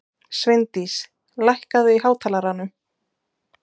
Sveindís, lækkaðu í hátalaranum.